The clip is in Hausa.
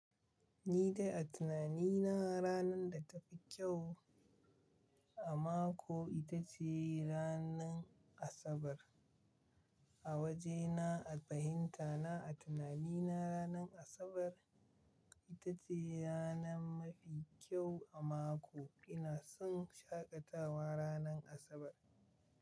Ni dai a tunani na ranar da tafi kyau a mako ita ce ranar Asabar. A wajena a fahinta na, a tunani na ranar Asabar ita ce ranar mafi kyau a mako. Ina son shaƙatawa ranar Asabar.